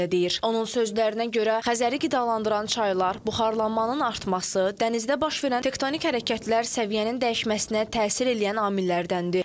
Onun sözlərinə görə Xəzəri qidalandıran çaylar, buxarlanmanın artması, dənizdə baş verən tektonik hərəkətlər səviyyənin dəyişməsinə təsir eləyən amillərdəndir.